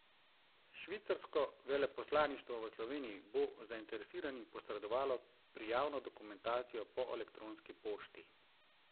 Švicarsko veleposlaništvo v Sloveniji bo zainteresiranim posredovalo prijavno dokumentacijo po elektronski pošti.